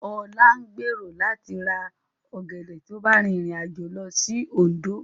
Ọlá ń gbèrò láti ra ọ̀gẹ̀dẹ̀ tí ó bá rìnrìn àjò lọ sí Òndó